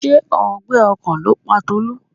Ṣé ọgbẹ́ ọkàn ló pa Tolú?